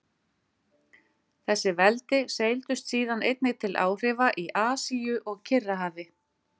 Þessi veldi seildust síðan einnig til áhrifa í Asíu og Kyrrahafi.